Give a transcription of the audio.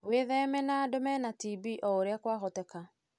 Wĩtheme na andũ mena TB o ũrĩa kwahotekeka.